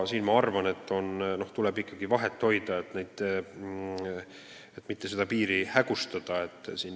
Ma arvan, et seda vahet tuleb ikkagi hoida, mitte seda piiri hägustada.